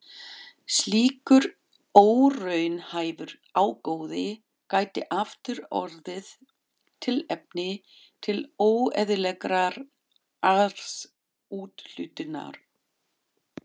Slíkur óraunhæfur ágóði gæti aftur orðið tilefni til óeðlilegrar arðsúthlutunar.